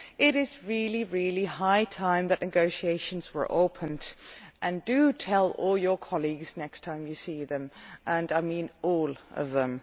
It is really high time that negotiations were opened. Do tell all your colleagues next time you see them and I mean all of them.